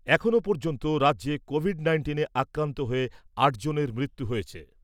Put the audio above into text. এখনও পর্যন্ত রাজ্যে কোভিড নাইন্টিনে আক্রান্ত হয়ে আটজনের মৃত্যু হয়েছে ।